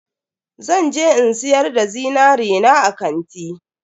Zan je in siyar da zinari na a kanti.